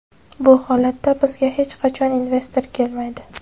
Bu holatda bizga hech qachon investor kelmaydi.